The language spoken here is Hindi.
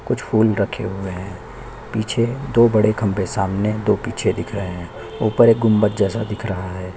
कुछ फूल रखे हुए है पीछे दो बड़े खम्बे सामने दो पीछे दिख रहै है ऊपर एक गुम्ब्बद जैसा दिख रहा हैं।